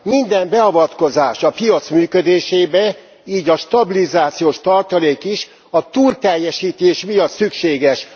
Minden beavatkozás a piac működésébe, így a stabilizációs tartalék is a túlteljesítés miatt szükséges.